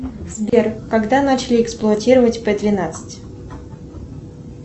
сбер когда начали эксплуатировать п двенадцать